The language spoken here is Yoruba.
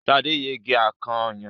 Sade yege akàn ọyàn.